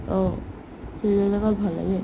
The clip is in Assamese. অ, ভাল লাগে